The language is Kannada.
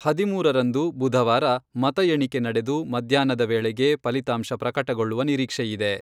ಹದಿಮೂರರಂದು, ಬುಧವಾರ ಮತ ಎಣಿಕೆ ನಡೆದು ಮಧ್ಯಾಹ್ನದ ವೇಳೆಗೆ ಫಲಿತಾಂಶ ಪ್ರಕಟಗೊಳ್ಳುವ ನಿರೀಕ್ಷೆಯಿದೆ.